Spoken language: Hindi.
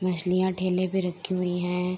मछलियां ठेले पे रखी हुई हैं।